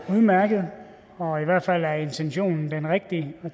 udmærkede og i hvert fald er intentionen den rigtige